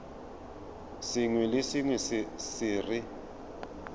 sengwe le sengwe se re